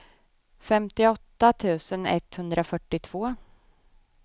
femtioåtta tusen etthundrafyrtiotvå